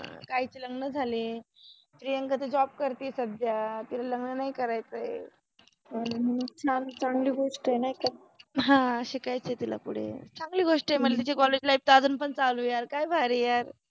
काहिचे लग्न झाले, प्रियंका त जॉब करतीये सद्ध्या, तिला लग्न नाहि करायचय, ह्म ह, चांगलि गोष्ट आहे नाहि का, हा शिकायच आहे तिला पुढे, चंगलि गोष्ट आहे मनजे तिचि कॉलेज लाईफ अजुन पन चालु आहे काय भारि आहे यार.